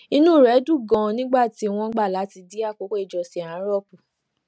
inú rè dùn ganan nígbà tí wón gbà láti dín àkókò ìjọsìn àárò kù